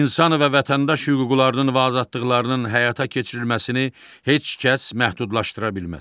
İnsan və vətəndaş hüquqlarının və azadlıqlarının həyata keçirilməsini heç kəs məhdudlaşdıra bilməz.